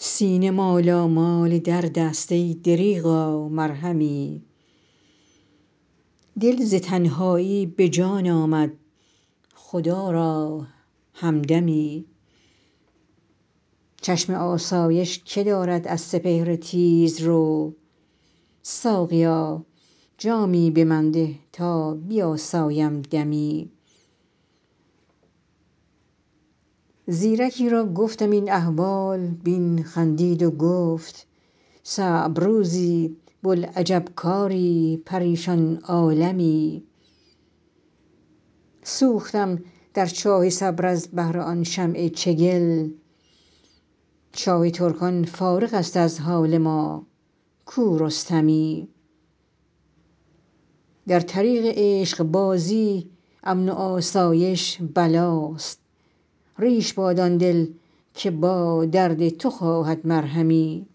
سینه مالامال درد است ای دریغا مرهمی دل ز تنهایی به جان آمد خدا را همدمی چشم آسایش که دارد از سپهر تیزرو ساقیا جامی به من ده تا بیاسایم دمی زیرکی را گفتم این احوال بین خندید و گفت صعب روزی بوالعجب کاری پریشان عالمی سوختم در چاه صبر از بهر آن شمع چگل شاه ترکان فارغ است از حال ما کو رستمی در طریق عشق بازی امن و آسایش بلاست ریش باد آن دل که با درد تو خواهد مرهمی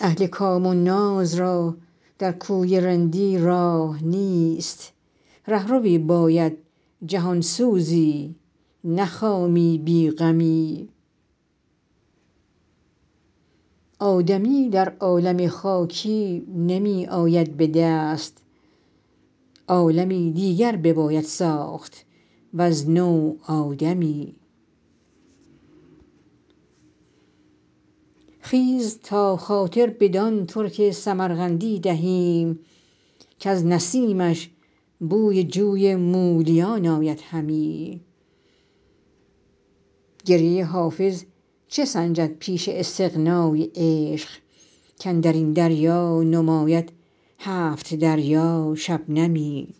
اهل کام و ناز را در کوی رندی راه نیست رهروی باید جهان سوزی نه خامی بی غمی آدمی در عالم خاکی نمی آید به دست عالمی دیگر بباید ساخت وز نو آدمی خیز تا خاطر بدان ترک سمرقندی دهیم کز نسیمش بوی جوی مولیان آید همی گریه حافظ چه سنجد پیش استغنای عشق کاندر این دریا نماید هفت دریا شبنمی